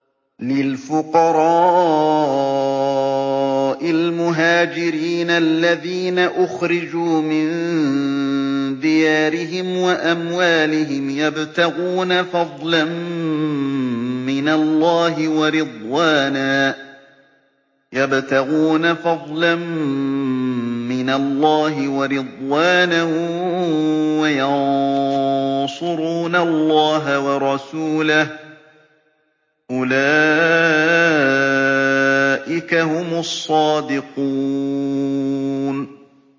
لِلْفُقَرَاءِ الْمُهَاجِرِينَ الَّذِينَ أُخْرِجُوا مِن دِيَارِهِمْ وَأَمْوَالِهِمْ يَبْتَغُونَ فَضْلًا مِّنَ اللَّهِ وَرِضْوَانًا وَيَنصُرُونَ اللَّهَ وَرَسُولَهُ ۚ أُولَٰئِكَ هُمُ الصَّادِقُونَ